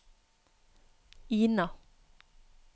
Ina